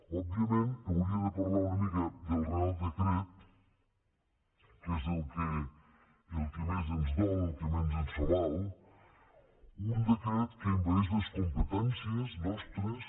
òbviament hauria de parlar una mica del reial decret que és el que més ens dol el que més ens fa mal un decret que envaeix les competències nostres